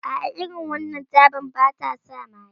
A a, irin wannan tabar ba ta sa maye